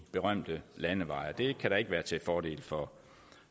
berømte landeveje det kan da ikke være til fordel for